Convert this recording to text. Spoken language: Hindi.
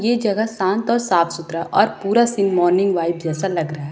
ये जगह शांत और साफ सुथरा और पूरा सीन मॉर्निंग वाइब जैसा लग रहा है।